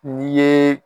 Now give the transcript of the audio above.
N'i ye